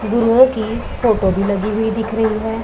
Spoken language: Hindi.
गुरुओं की फोटो भी लगी हुई दिख रही हैं।